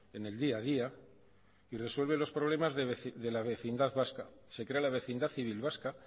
en el día a día y resuelve los problemas de la vecindad vasca se crea la vecindad civil vasca